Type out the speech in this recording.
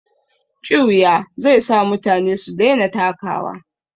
Ƙiuya zai sa mutane su daina takawa.